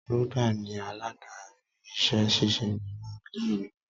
Rhoda ni aládarí iṣẹ́ ṣíṣe inú ilé ìwé.